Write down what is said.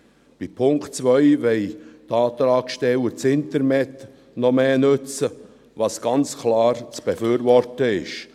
Beim Punkt 2 wollen die Antragsteller das Internet noch mehr nutzen, was ganz klar zu befürworten ist.